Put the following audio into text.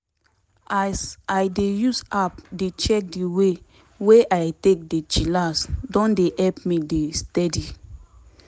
as i dey use app dey check di way wey i take dey chillax don dey help me dey steady.